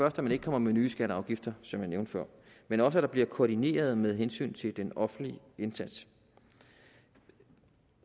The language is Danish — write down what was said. at man ikke kommer med nye skatter og afgifter som jeg nævnte før men også at der bliver koordineret med hensyn til den offentlige indsats